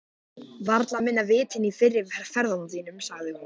Varla minna vit en í fyrri ferðum þínum, sagði hún.